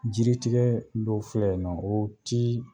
Jiritigɛ dɔw filɛ yen nɔ o tii